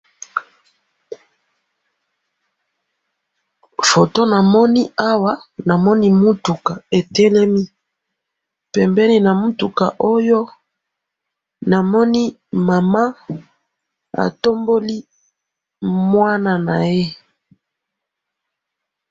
photo na moni awa na moni mutuka etelemi pembeni na mutuka oyo na moni mama atomboli mwana naye